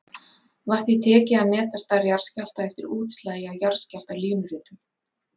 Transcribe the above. Var því tekið að meta stærð jarðskjálfta eftir útslagi á jarðskjálftalínuritum.